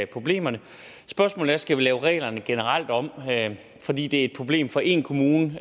problemerne spørgsmålet er skal lave reglerne generelt om fordi det et problem for en kommune det